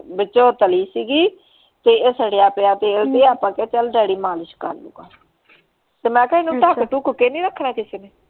ਵਿਚੋਂ ਤਲੀ ਸੀਗੀ ਤੇ ਸੜਿਆ ਪਿਆ ਤੇਲ ਤੇ ਆਪਾਂ ਕਿਹਾ ਡੈਡੀ ਮਾਲਸ਼ ਕਰਲੂਗਾ ਤੇ ਮੈਂ ਕਿਹਾ ਇਹਨੂੰ ਢੱਕ ਢੁੱਕ ਕੇ ਨਹੀਂ ਰੱਖਣਾ ਕਿਸੇ ਨੇ।